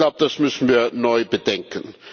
Ich glaube, das müssen wir neu bedenken.